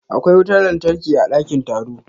Akwai wutar lantarki a dakin taro.